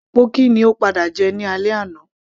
pọ́kì ni ó padà jẹ ní alẹ́ àná